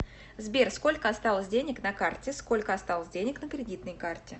сбер сколько осталось денег на карте сколько осталось денег на кредитной карте